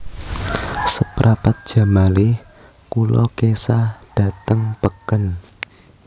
Seprapat jam malih kulo kesah dateng peken